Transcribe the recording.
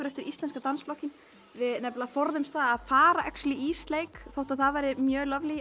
eftir íslenska dansflokkinn við forðumst að fara í sleik þótt það væri mjög